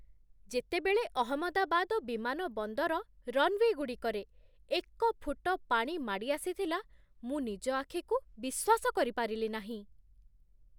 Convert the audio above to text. ଯେତେବେଳେ ଅହମ୍ମଦାବାଦ ବିମାନ ବନ୍ଦର ରନୱେ ଗୁଡ଼ିକରେ ଏକ ଫୁଟ ପାଣି ମାଡ଼ି ଆସିଥିଲା, ମୁଁ ନିଜ ଆଖିକୁ ବିଶ୍ୱାସ କରିପାରିଲି ନାହିଁ ।